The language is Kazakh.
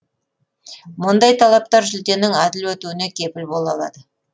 мұндай талаптар жүлденің әділ өтуіне кепіл бола алады